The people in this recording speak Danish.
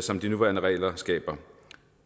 som de nuværende regler skaber